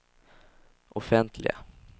offentliga